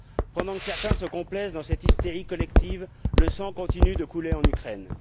Pendant que certains se complaisent dans cette hystérie collective, le sang continue de couler en Ukraine.